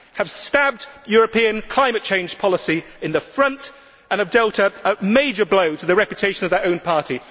they have stabbed European climate change policy in the front and they have dealt a major blow to the reputation of their own party.